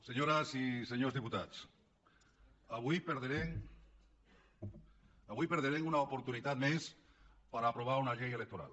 senyores i senyors diputats avui perdrem una oportunitat més per aprovar una llei electoral